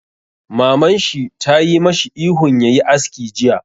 Maman shi tayi mashi ihun ya yi aski jiya!